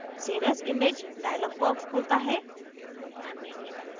save as image dialog box खुलता है